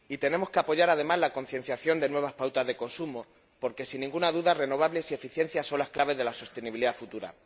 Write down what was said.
Y tenemos que apoyar además la concienciación de nuevas pautas de consumo porque, sin ninguna duda, renovables y eficiencia son las claves de la sostenibilidad futura.